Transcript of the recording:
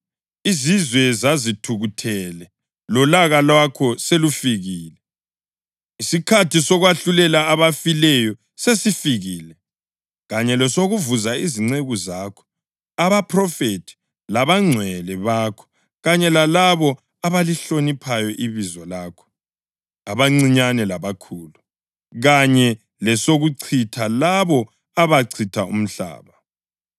Izizwe zazithukuthele; lolaka lwakho selufikile. Isikhathi sokwahlulela abafileyo sesifikile kanye lesokuvuza izinceku zakho abaphrofethi labangcwele bakho kanye lalabo abalihloniphayo ibizo lakho, abancinyane labakhulu kanye lesokuchitha labo abachitha umhlaba.”